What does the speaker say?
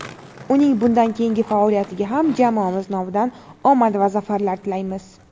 Uning bundan keyingi faoliyatiga ham jamoamiz nomidan omad va zafarlar tilaymiz!.